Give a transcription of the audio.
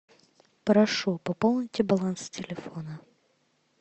прошу пополните баланс телефона